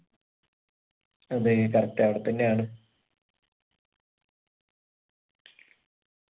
അതെ correct അവിടെ തന്നെ ആണ്